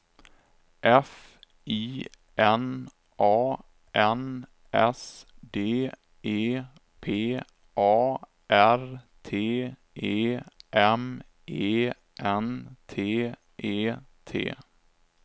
F I N A N S D E P A R T E M E N T E T